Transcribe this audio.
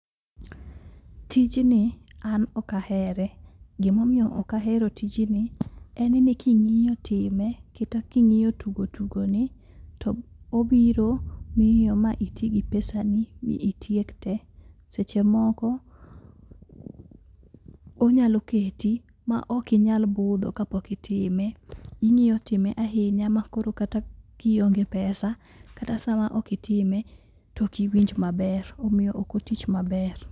Tijni an ok ahere gimomiyo ok ahero tijni, en ni king'iyo time kata king'iyo tugo tugo ni, to obiro miyo iti gi pesani mi itiek te. Seche moko, onyalo keti ma ok inyal budho kapok itime. Ing'iyo time ahinya ma koro kata kionge pesa kata sama ok itime to ok iwinj maber. Omiyo ok otich maber.